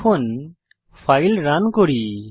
এখন file run করি